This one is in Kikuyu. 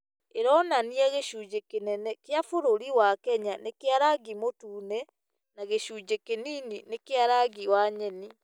ĩronania gĩcunjĩ kĩnene kĩa bũrũri wa Kenya nĩ kĩa rangi mũtune na gĩcunjĩ kĩnini nĩ kĩa rangi wa nyeni.